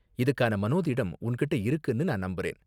இதுக்கான மனோதிடம் உன்கிட்ட இருக்குன்னு நான் நம்புறேன்.